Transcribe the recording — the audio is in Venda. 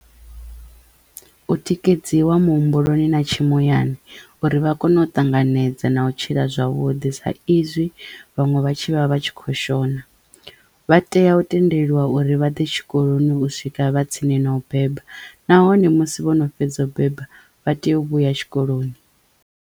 U tikedziwa muhumbuloni na tshi muyani uri vha kono u ṱanganedza na u tshila zwavhuḓi sa izwi vhaṅwe vha tshi vha vha tshi kho shona vha teya u tendelwa uri vha ḓe tshikoloni u swika vha tsini no u beba nahone musi vhono fhedza u beba vha teyo u vhuya tshikoloni.